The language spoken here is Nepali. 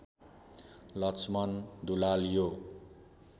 लक्ष्मन दुलाल यो